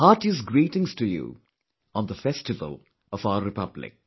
Heartiest greetings to you on the Festival of our Republic